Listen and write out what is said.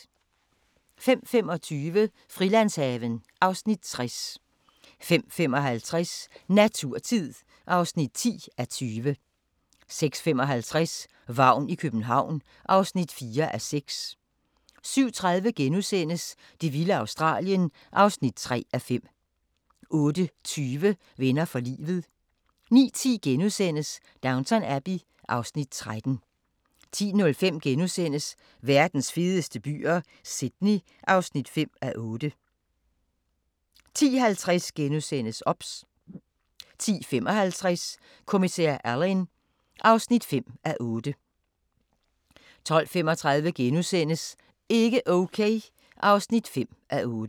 05:25: Frilandshaven (Afs. 60) 05:55: Naturtid (10:20) 06:55: Vagn i København (4:6) 07:30: Det vilde Australien (3:5)* 08:20: Venner for livet 09:10: Downton Abbey (Afs. 13)* 10:05: Verdens fedeste byer - Sydney (5:8)* 10:50: OBS * 10:55: Kommissær Alleyn (5:8) 12:35: Ikke okay (5:8)*